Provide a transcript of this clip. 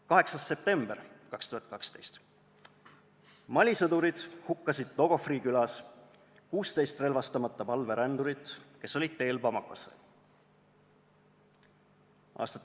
8. september 2012: Mali sõdurid hukkasid Dogofri külas 16 relvastamata palverändurit, kes olid teel Bamakosse.